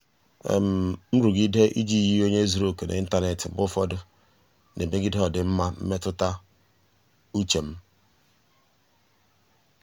nrụgide iji yie onye zuru oke n'ịntanetị mgbe ụfọdụ na-emegide ọdịmma mmetụta uche m.